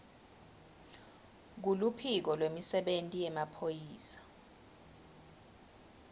kuluphiko lwemisebenti yemaphoyisa